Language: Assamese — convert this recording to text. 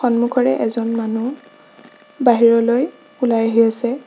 সন্মুখৰে এজন মানুহ বাহিৰলৈ ওলাই আহি আছে।